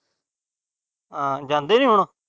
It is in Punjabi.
ਆ ਜਾਂਦੇ ਨੀ ਹੁਣ।